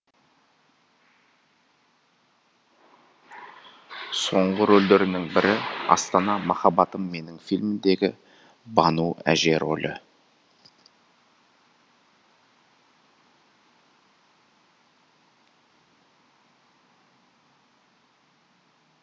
соңғы рөлдерінің бірі астана махаббатым менің фильміндегі бану әже рөлі